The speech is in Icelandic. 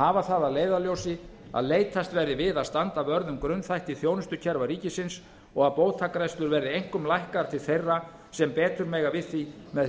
hafa það að leiðarljósi að leitast verði við að standa vörð um grunnþætti þjónustukerfa ríkisins og að bótagreiðslur verði einkum lækkaðar til þeirra sem betur mega við því með